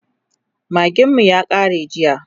magin mu ya kare jiya